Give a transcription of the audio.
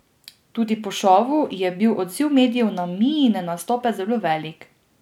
Tudi po šovu je bil odziv medijev na Miine nastope zelo velik.